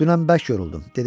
Dünən bərk yoruldum.